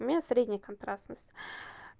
у меня средняя контрастность